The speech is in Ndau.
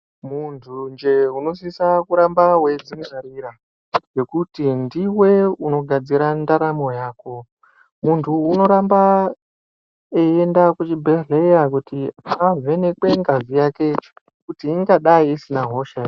Munthunje unosisa kuramba weidzingwarira ,ngekuti ndiwe unogadzira ndaramo yako. Munhu unoramba eienda kuchibhedhleya kuti avhenekwe ngazi yake, kuti ingadai isina hosha ere.